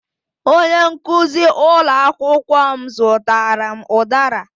Onye nkuzi ụlọ akwụkwọ m zụtara m udara